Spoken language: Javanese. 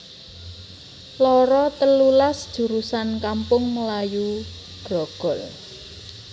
loro telulas jurusan Kampung Melayu Grogol